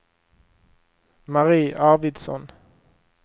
Marie Arvidsson